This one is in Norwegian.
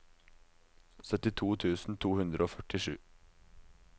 syttito tusen to hundre og førtisju